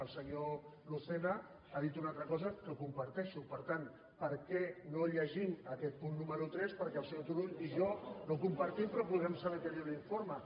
el senyor lucena ha dit una altra cosa que comparteixo per tant per què no llegim aquest punt número tres perquè el senyor turull i jo no ho compartim però podrem saber què diu l’informe